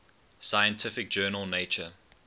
scientific journal nature